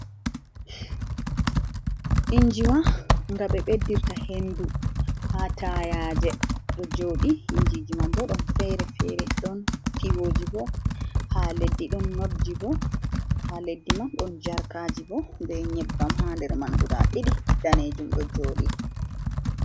Injiwa nga ɓe ɓedirta hendu ha tayaje ɗo joɗi. Injiji man bo ɗon fere-fere. Ɗon tiwoji bo ha leddi, ɗon notji bo ha leddi man, ɗon jarkaji bo be nyebbam ha nder man guda ɗiɗi danejum ɗo joɗi.